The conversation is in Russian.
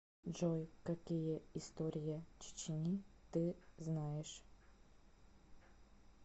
джой какие история чечни ты знаешь